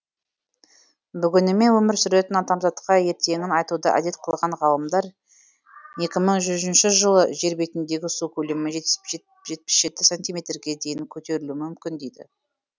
бүгінімен өмір сүретін адамзатқа ертеңін айтуды әдет қылған ғалымдар екі мың жүзінші жылы жер бетіндегі су көлемі жетпіс жеті сантиметрге дейін көтерілуі мүмкін деді